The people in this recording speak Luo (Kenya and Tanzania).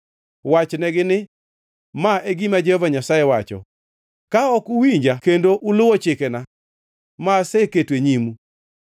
Wachnegi ni, ‘Ma e gima Jehova Nyasaye wacho: Ka ok uwinja kendo uluwo chikena, ma aseketo e nyimu,